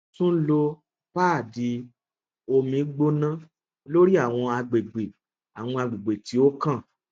tun lo paadi omi gbona lori awọn agbegbe awọn agbegbe ti o kan